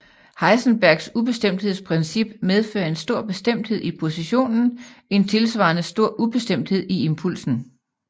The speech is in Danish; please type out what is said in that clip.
Heisenbergs ubestemthedsprincip medfører en stor bestemthed i positionen en tilsvarende stor ubestemthed i impulsen